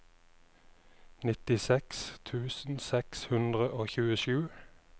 nittiseks tusen seks hundre og tjuesju